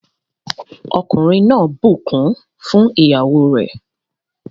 Ọkùnrin náà bukún fún ìyàwó re.